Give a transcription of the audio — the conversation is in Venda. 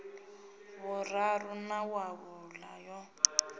vhuraru na wa vhuṋa yo